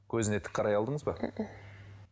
көзіне тік қарай алдыңыз ба